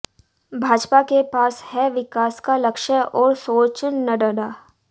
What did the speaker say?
भाजपा के पास है विकास का लक्ष्य और सोचः नड्डा